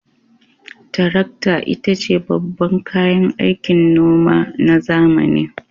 Tarakta ita ce babban kayan aikin noma na zamani.